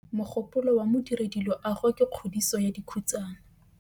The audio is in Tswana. Mogôpolô wa Modirediloagô ke kgodiso ya dikhutsana.